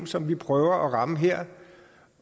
som vi prøver at ramme her